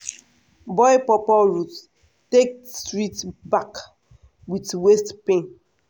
boil pawpaw root take treat back with waist pain.